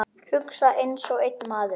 Hugsa einsog einn maður.